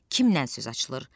Kimdən söz açılır?